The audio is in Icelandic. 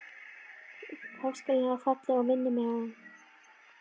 Páskaliljan er falleg og minnir á þig.